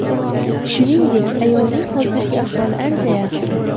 Shuningdek, ayolning hozirgi ahvoli ancha yaxshi.